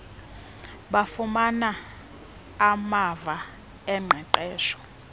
bafumana amava oqeqesho